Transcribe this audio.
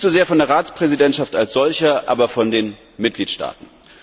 Nicht so sehr von der Ratspräsidentschaft als solcher, aber von den Mitgliedstaaten.